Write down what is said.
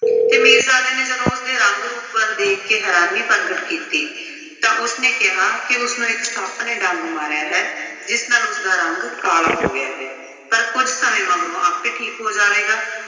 ਤੇ ਮੀਰਜ਼ਾਦੇ ਨੇ ਜਦੋਂ ਉਸਦੇ ਰੰਗ-ਰੂਪ ਵੱਲ ਦੇਖ ਕੇ ਹੈਰਾਨੀ ਪ੍ਰਗਟ ਕੀਤੀ ਤਾਂ ਉਸਨੇ ਕਿਹਾ ਕਿ ਉਸਨੂੰ ਇੱਕ ਸੱਪ ਨੇ ਡੰਗ ਮਾਰਿਆ ਹੈ ਜਿਸ ਨਾਲ ਉਸਦਾ ਰੰਗ ਕਾਲਾ ਹੋ ਗਿਆ ਹੈ। ਪਰ ਕੁੱਝ ਸਮੇਂ ਮਗਰੋਂ ਆਪੇ ਠੀਕ ਹੋ ਜਾਵੇਗਾ।